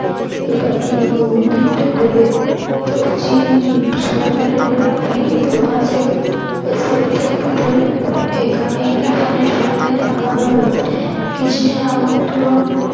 এবার তিনি বহু তীর্থ ঘুরে পশ্চিম সমুদ্রের তীরে প্রবাসে এসে উপস্থিত হলেন এখানে কৃষ্ণের সঙ্গে দেখা হল কৃষ্ণের আমন্ত্রণ